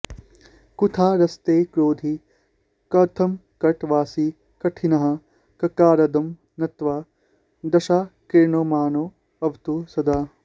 कुठारस्ते क्रोधी कमठकटवासी कठिनहा ककाराद्यं नत्वा दशकिरणमानोऽवतु सदा